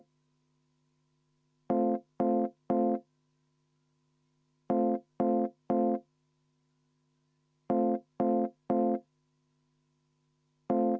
Kümme minutit vaheaega, palun!